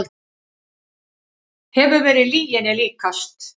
Hefur verið lyginni líkast